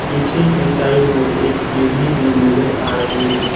पीछे की साइड में एक सीड़ी भी नजर आ रही है।